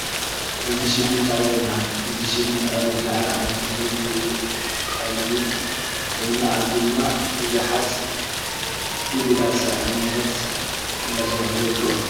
እዚ ሽግን ጣብያ ይባሃል። እዚ ሽግን ጣብያ ቡዙሓት ዓይነት ተክሊ ዝዳቀልሉ ኮይኑ ኣብዚ ድማ ቡዙሓት ናይ ጉልባት ሰራሕተኛ እንዳሰርሑ ይርከቡ።